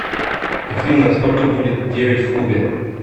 афина сколько будет девять в кубе